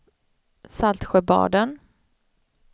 Saltsjöbaden